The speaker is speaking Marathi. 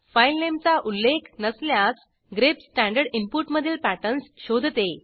फाईलनेमचा उल्लेख नसल्यास ग्रेप स्टँडर्ड इनपुटमधील पॅटर्न्स शोधते